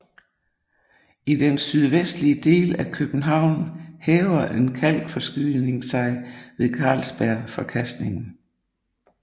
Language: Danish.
I den sydvestlige del af København hæver en kalkforskydning sig ved Carlsbergforkastningen